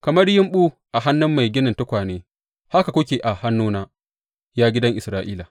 Kamar yumɓu a hannun mai ginin tukwane, haka kuke a hannuna, ya gidan Isra’ila.